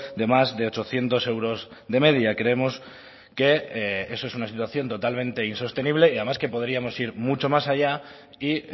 de más de ochocientos euros de media creemos que eso es una situación totalmente insostenible y además que podríamos ir mucho más allá y